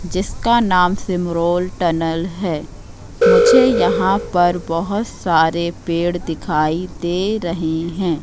जिसका नाम सिमरोल टनल है मुझे यहां पर बहोत सारे पेड़ दिखाई दे रहे हैं।